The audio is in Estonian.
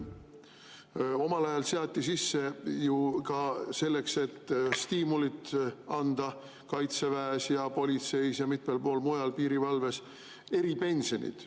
Omal ajal seati selleks, et stiimulit anda, kaitseväes ja politseis ja mitmel pool mujal, näiteks piirivalves, sisse eripensionid.